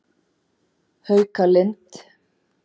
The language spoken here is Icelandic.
Haukalind